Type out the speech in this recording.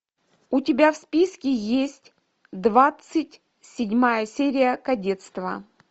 у тебя в списке есть двадцать седьмая серия кадетство